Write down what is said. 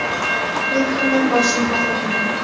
men ham dam olishni xohlagandim.